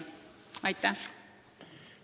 Aitäh!